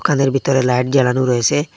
কানের ভিতরে লাইট জ্বালানো রয়েসে।